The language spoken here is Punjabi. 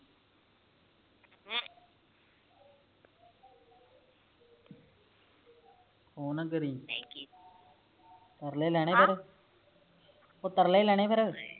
ਫੋਨ ਨਾ ਕਰਿ ਤਰਲੇ ਹੀ ਲੈਣੇ ਫੇਰ ਓ ਤਰਲੇ ਹੀ ਲੈਣੇ ਫੇਰ